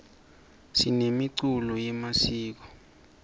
sinemiculo yemasiko